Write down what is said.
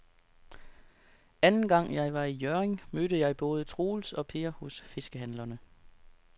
Anden gang jeg var i Hjørring, mødte jeg både Troels og Per hos fiskehandlerne.